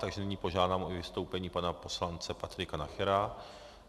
Takže nyní požádám o vystoupení pana poslance Patrika Nachera.